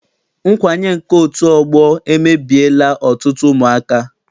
Nkwanye nke otu ọgbọ emebiela ọtụtụ ụmụaka.